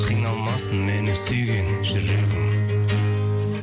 қиналмасын мені сүйген жүрегің